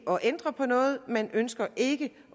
ændre på noget man ønsker ikke